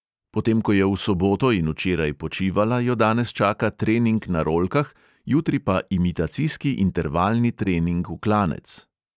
Potem ko je v soboto in včeraj počivala, jo danes čaka trening na rolkah, jutri pa imitacijski intervalni trening v klanec.